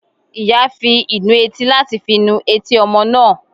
Iyá fí ìnù etí latí fí nù etí ọmọ náá